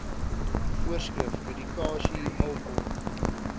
voorskrif medikasie alkohol